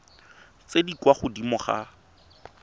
tse di kwa godimo ga